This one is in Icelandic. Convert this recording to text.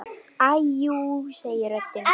Æi jú, segir röddin.